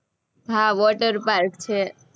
હા, water park છે.